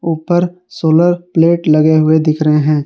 ऊपर solar plate लगे हुए दिख रहे हैं।